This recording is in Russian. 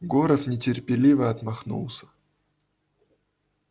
горов нетерпеливо отмахнулся